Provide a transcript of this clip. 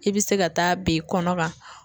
I bɛ se ka taa ben kɔnɔ ka.